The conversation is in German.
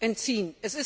entziehen.